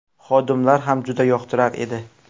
Xodimlar ham juda yoqtirar edi.